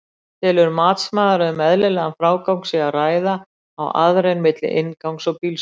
Telur matsmaður að um eðlilegan frágang sé að ræða á aðrein milli inngangs og bílskúra?